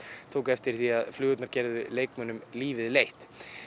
tóku eftir því að flugurnar gerðu leikmönnum lífið leitt